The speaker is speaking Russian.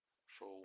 шоу